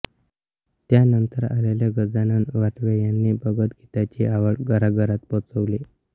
त्यानंतर आलेले गजानन वाटवे यांनी भावगीतांची आवड घरांघरांत पोहोचवली